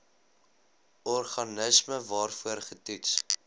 organisme waarvoor getoets